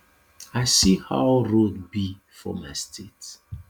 i see how road be for my state